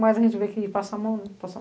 mas a gente vê que passa a mão, né?